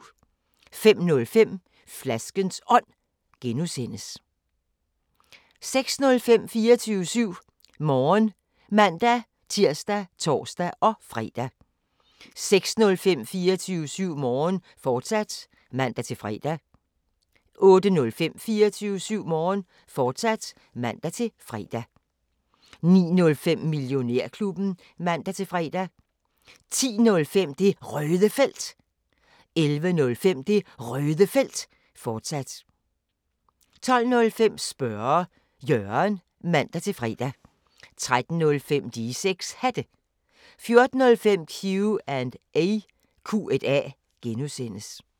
05:05: Flaskens Ånd (G) 06:05: 24syv Morgen (man-tir og tor-fre) 07:05: 24syv Morgen, fortsat (man-fre) 08:05: 24syv Morgen, fortsat (man-fre) 09:05: Millionærklubben (man-fre) 10:05: Det Røde Felt 11:05: Det Røde Felt, fortsat 12:05: Spørge Jørgen (man-fre) 13:05: De 6 Hatte 14:05: Q&A (G)